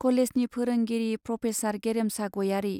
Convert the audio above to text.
कलेजनि फोरोंगिरि प्रफेसर गेरेमसा गयारी।